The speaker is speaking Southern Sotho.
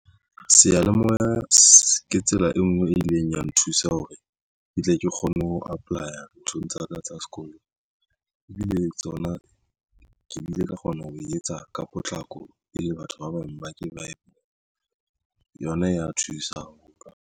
Seyalemoya se ke tsela e nngwe e ileng ya nthusa hore ke tle ke kgone ho apply-a nthong tsa ka tsa sekolo ebile tsona ke bile ka kgona ho e etsa ka potlako e le batho ba bang ba ke ba e yona ya thusa ho.